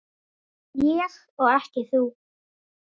Ég og ekki þú.